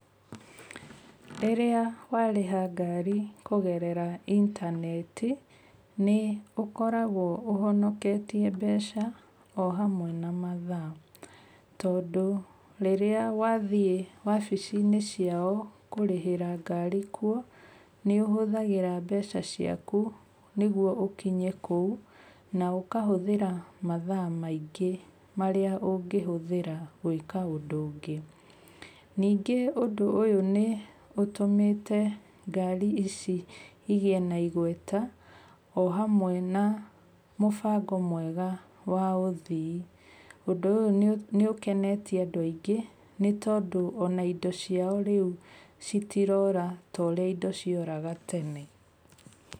Rĩrĩa warĩha ngari kũgerera intaneti nĩ ũkoragwo ũhonoketie mbeca o hamwe na mathaa. Tondu rĩrĩa wathiĩ obici-inĩ ciao kũrĩhĩra ngari kuo nĩ ũhũthagĩra mbeca ciaku nĩgetha ũkinye kũu na ukahũthĩra mathaa maingĩ marĩa ũngĩhũthĩra gwĩka ũndũ ũngĩ. Ningĩ ũndũ ũyũ nĩ ũtũmĩte ngarĩ ici igĩe na igweta o hamwe na mũbango mwega wa ũthii, ũndũ ũyũ nĩ ũkenetie andũ aingĩ nĩ tondũ ona indo ciao rĩu citirora.